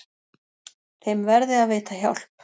Þeim verði að veita hjálp.